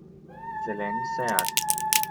Zeleni seat.